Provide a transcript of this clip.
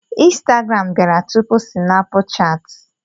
Instagram bịara tupu Sinapuchat.